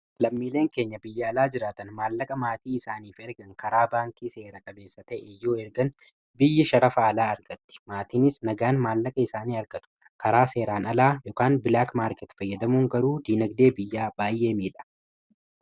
lammiileen keenya biyya alaa jiraatan maallaqa maatii isaaniif ergan karaa baankii seera qabeessa ta'e yoo ergan biyyi sharafaalaa argatti maatiinis nagaan maallaqa isaanii argatu karaa seeraan alaa y bilaak maarket fayyadamuun garuu diinagdee biyyaa baay'ee miidha